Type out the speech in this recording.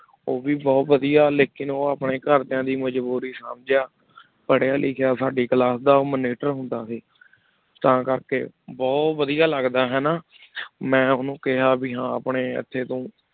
ਉਹ ਵੀ ਬਹੁਤ ਵਧੀਆ ਲੇਕਿੰਨ ਉਹ ਆਪਣੇ ਘਰਦਿਆਂ ਦੀ ਮਜ਼ਬੂਰੀ ਸਮਝਿਆ ਪੜ੍ਹਿਆ ਲਿਖਿਆ ਸਾਡੀ class ਦਾ monitor ਹੁੰਦਾ ਸੀ, ਤਾਂ ਕਰਕੇ ਬਹੁਤ ਵਧੀਆ ਲੱਗਦਾ ਹਨਾ ਮੈਂ ਉਹਨੂੰ ਕਿਹਾ ਵੀ ਹਾਂ ਆਪਣੇ ਇੱਥੇ ਤੂੰ